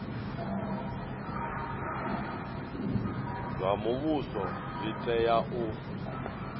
zwa muvhuso zwi tea u